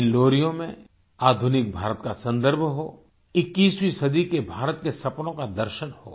इन लोरियों में आधुनिक भारत का संदर्भ हो 21वीं सदी के भारत के सपनों का दर्शन हो